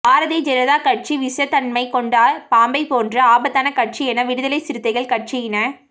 பாரதிய ஜனதா கட்சி விஷத்தன்மைக் கொண்ட பாம்பைப் போன்று ஆபத்தான கட்சி என விடுதலைச் சிறுத்தைகள் கட்சியின